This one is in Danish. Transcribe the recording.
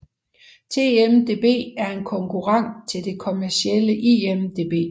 TMDb er en konkurrent til det kommercielle IMDb